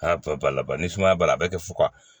Aa bɛɛ b'a laban ni sumaya b'a la a bɛ kɛ fufaga